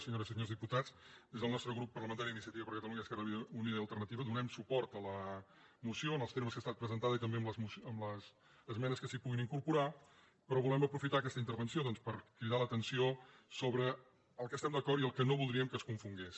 senyores i senyors diputats des del nostre grup parlamentari d’iniciativa per catalunya esquerra unida i alternativa donem suport a la moció en els termes que ha estat presentada i també amb les esmenes que s’hi puguin incorporar però volem aprofitar aquesta intervenció per cridar l’atenció sobre el que estem d’acord i el que no voldríem que es confongués